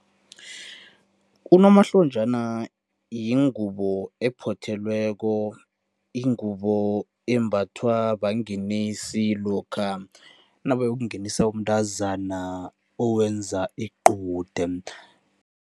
Unomahlonjana yingubo ephothelweko, ingubo embathwa bangenisi lokha nabayokungenisa umntazana owenza iqude.